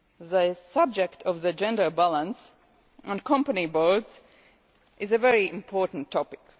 The subject of the gender balance on company boards is a very important topic.